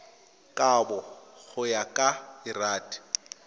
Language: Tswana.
kabo go ya ka lrad